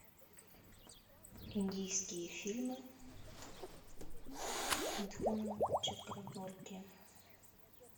индийские фильмы с митхуном чакраборти